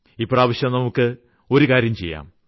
ഇപ്രാവശ്യം നമുക്ക് ഒരു കാര്യം ചെയ്യാം